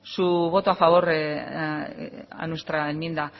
su voto a favor a nuestra enmienda